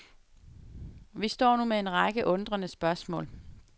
Vi står nu med en række undrende spørgsmål.